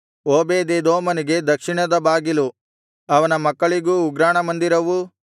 ಓಬೇದೆದೋಮನಿಗೆ ದಕ್ಷಿಣದ ಬಾಗಿಲು ಅವನ ಮಕ್ಕಳಿಗೆ ಉಗ್ರಾಣ ಮಂದಿರವೂ